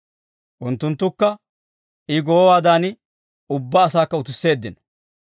Unttunttukka I goowaadan ubbaa asaakka utisseeddino.